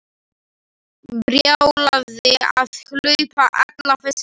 Brjálæði að hlaupa alla þessa leið.